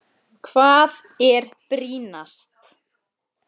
Hvað er brýnast?